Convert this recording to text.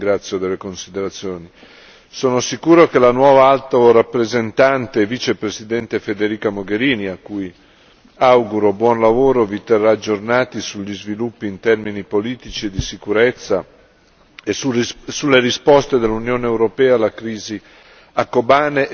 Sono sicuro che la nuova Alto rappresentante e Vicepresidente Federica Mogherini, a cui auguro buon lavoro, vi terrà aggiornati sugli sviluppi in termini politici e di sicurezza e sulle risposte dell'Unione europea alla crisi a Kobane e più in generale in Siria e in Iraq.